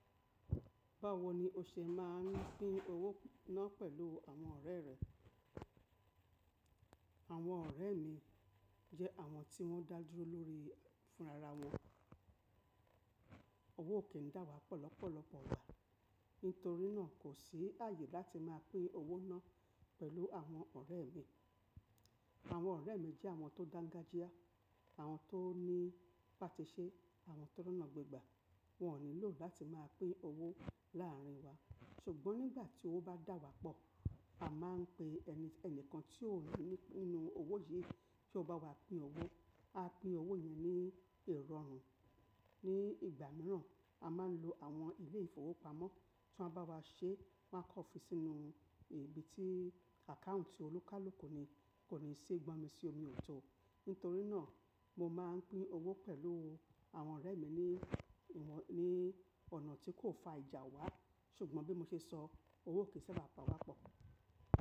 Báwo ni o ṣe máa ń pín owó náà pẹ̀lú àwọn ọ̀rẹ́ rẹ? Àwọn ọ̀rẹ́ mi jẹ́ àwọn tí wọ́n ń dá dúró lórí fúnra ra wọn. Owó ò kí n dá wa pọ̀ lọ́pọ̀lọpọ̀ igba. Nítorí náà kò sí àyè láti máa pín owó náà pẹ̀lú àwọn ọ̀rẹ́ mi. Àwọn ọ̀rẹ́ mi jẹ́ àwọn tó dangajia, àwọn tó ní bàtisẹ́, àwọn tó rọ̀nà gbegbà. Wọn ò nílò láti máa pín owó láàrin wa. Ṣùgbọ́n nígbà tí owó bá dà wá pọ̀, a máa ń pe ẹni kan tí ó ní nínú owó yìí tí ó bá wá pín owó. A pín owó yẹn ní ìrọ̀rùn. Ní ìgbà mìíràn, a máa ń lo àwọn ilé ìfowópamọ́ tí wọ́n bá wá ṣe, wọ́n kò fi sínú ibi tí àkáùntì olúkálù ni kò ní ṣi gbọn mi sí omi ò tọ. Nítorí náà mo máa ń pín owó pẹ̀lú àwọn ọ̀rẹ́ mi ní ọ̀nà tí kò fa ìjà wá. Ṣùgbọ́n bí mo ṣe sọ owó ò kín sabá pà wá pọ̀.